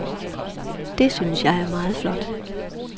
Det, synes jeg, er meget flot.